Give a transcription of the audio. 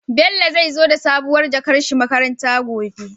Bello zai zo da sabuwar jakar shi makaranta gobe